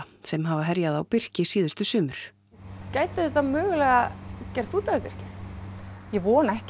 sem hafa herjað á birki síðustu sumur gæti þetta mögulega gert út af við birkið ég vona ekki